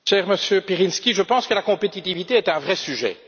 Cher Monsieur Pirinski, je pense que la compétitivité est un vrai sujet.